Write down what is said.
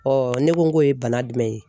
ne ko k'o ye bana jumɛn ye